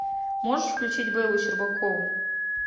можешь включить бэллу щербакову